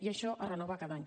i això es renova cada any